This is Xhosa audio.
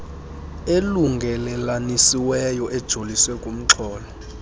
elungelelanisiweyo ejolise kumxholo